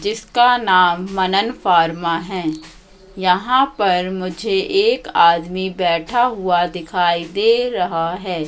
जिसका नाम मनन फार्मा है यहां पर मुझे एक आदमी बैठा हुआ दिखाई दे रहा है।